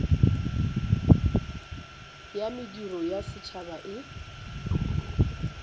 ya mediro ya setšhaba e